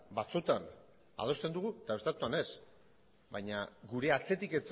batzutan adosten dugu eta beste batzuetan ez baina gure atzetik